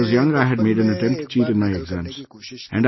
Once, when I was young, I had made an attempt to cheat in my exams